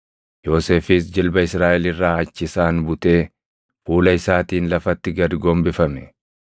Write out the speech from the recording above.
Yoosefis jilba Israaʼel irraa achi isaan butee fuula isaatiin lafatti gad gombifame.